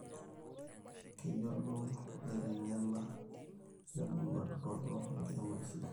keyiolou illaitengeni le murrua dupoto enkiremorre sidai